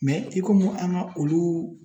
i komi an ka olu